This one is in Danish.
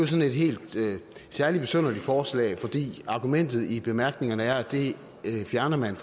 sådan et helt særlig besynderligt forslag fordi argumentet i bemærkningerne er at det fjerner man